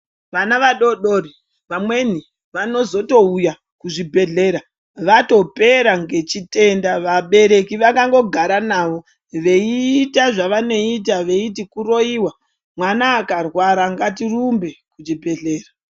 Vana vadodori vamweni vanozotouya kuzvibhedhlera vatopera ngechitenda vabereki vakangogara navo veita zvavanoita veiti kuroiwa mwana akarwara ngatirumbe kuchibhedhlera.